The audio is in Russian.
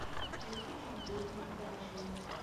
ольгой тимофеевной даньшиной